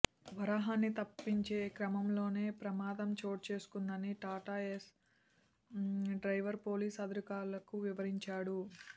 వరాహాన్ని తప్పించే క్రమంలోనే ప్రమాదం చోటు చేసుకుందని టాటాఏస్ డ్రైవర్ పోలీసు అధికారులకు వివరించాడు